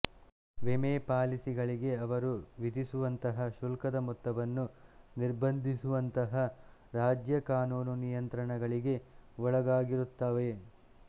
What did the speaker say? ವಿಮೆ ಪಾಲಿಸಿಗಳಿಗೆ ಅವರು ವಿಧಿಸುವಂತಹ ಶುಲ್ಕದ ಮೊತ್ತವನ್ನು ನಿರ್ಬಂಧಿಸುವಂತಹ ರಾಜ್ಯ ಕಾನೂನು ನಿಯಂತ್ರಣಗಳಿಗೆ ಒಳಗಾಗಿರುತ್ತವೆ